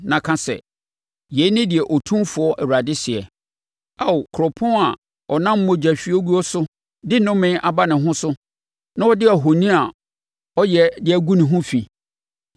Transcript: na ka sɛ: ‘Yei ne deɛ Otumfoɔ Awurade seɛ: Ao kuropɔn a ɔnam mogya hwieguo so de nnome aba ne ho so na ɔde ahoni a ɔyɛ agu ne ho fi,